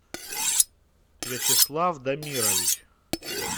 вячеслав дамирович